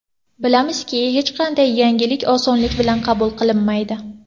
Bilamizki, hech qanday yangilik osonlik bilan qabul qilinmaydi.